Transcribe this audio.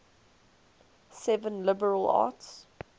seven liberal arts